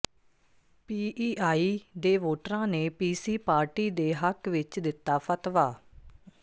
PEI ਦੇ ਵੋਟਰਾਂ ਨੇ ਪੀਸੀ ਪਾਰਟੀ ਦੇ ਹੱਕ ਵਿੱਚ ਦਿੱਤਾ ਫਤਵਾ